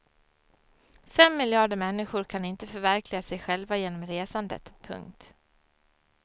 Fem miljarder människor kan inte förverkliga sig själva genom resandet. punkt